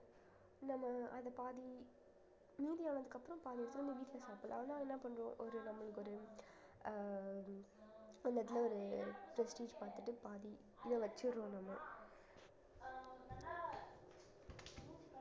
நம்ம அது பாதி மீதி ஆனதுக்கு அப்புறம் பாதி எடுத்து வந்து வீட்டுல சாப்பிடலாம் அதனால என்ன பண்ணுவோம் ஒரு நம்மளுக்கு ஒரு அஹ் அந்த இடத்துல ஒரு prestige பார்த்துட்டு பாதி இதை வச்சிடுறோம் நம்ம